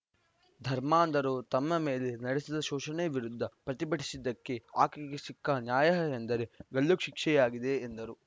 ಧರ್ಮಾಂಧರು ತಮ್ಮ ಮೇಲೆ ನಡೆಸಿದ ಶೋಷಣೆ ವಿರುದ್ಧ ಪ್ರತಿಭಟಿಸಿದ್ದಕ್ಕೆ ಆಕೆಗೆ ಸಿಕ್ಕ ನ್ಯಾಯ ಎಂದರೆ ಗಲ್ಲು ಶಿಕ್ಷೆಯಾಗಿದೆ ಎಂದರು